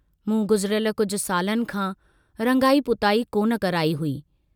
मूं गुज़िरियल कुझ सालनि खां रंगाई पुताई कोन कराई हुई।